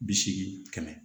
Bi seegin kɛmɛ